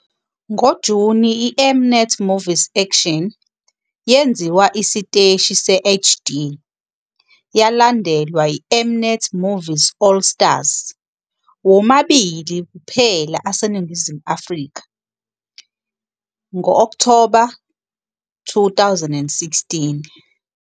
NgoJuni iM-Net Movies Action yenziwa isiteshi se-HD, yalandelwa iM-Net Movies All Stars, womabili kuphela aseNingizimu ye-Afrika, ngo-Okthoba 2016.